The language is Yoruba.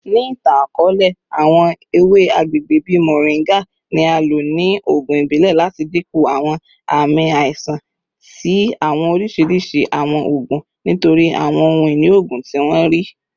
Ni itan-akọọlẹ, awọn ewe agbegbe bii moringa ni a lo ni oogun ibile lati dinku awọn aami aisan ti awọn oriṣiriṣi awọn oogun nitori awọn ohun-ini oogun ti wọn rii.